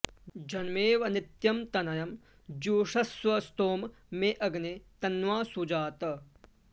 जन्मे॑व॒ नित्यं॒ तन॑यं जुषस्व॒ स्तोमं॑ मे अग्ने त॒न्वा॑ सुजात